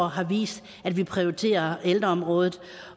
år har vist at vi prioriterer ældreområdet